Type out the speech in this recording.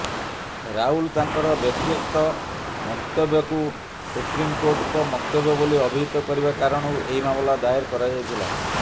ରାହୁଲ୍ ତାଙ୍କର ବ୍ୟକ୍ତିଗତ ମନ୍ତବ୍ୟକୁ ସୁପ୍ରିମ୍କୋର୍ଟଙ୍କ ମନ୍ତବ୍ୟ ବୋଲି ଅଭିହିତ କରିବା କାରଣରୁ ଏହି ମାମଲା ଦାଏର କରାଯାଇଥିଲା